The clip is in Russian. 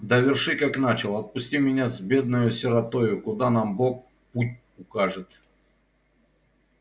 доверши как начал отпусти меня с бедною сиротою куда нам бог путь укажет